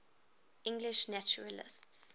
english naturalists